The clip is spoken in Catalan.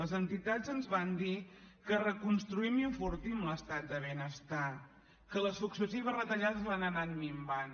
les entitats ens van dir que reconstruïm i enfortim l’estat del benestar que les successives retallades l’han anat minvant